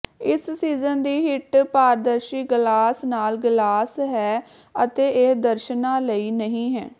ਇਸ ਸੀਜ਼ਨ ਦੀ ਹਿੱਟ ਪਾਰਦਰਸ਼ੀ ਗਲਾਸ ਨਾਲ ਗਲਾਸ ਹੈ ਅਤੇ ਇਹ ਦਰਸ਼ਨਾਂ ਲਈ ਨਹੀਂ ਹੈ